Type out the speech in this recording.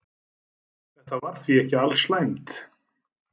Þetta var því ekki alslæmt.